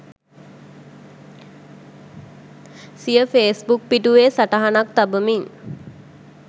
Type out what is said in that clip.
සිය ෆේස්බුක් පිටුවේ සටහනක් තබමින්